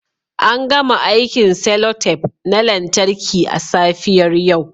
An gama aikin cellotape na lantarki a safiyar yau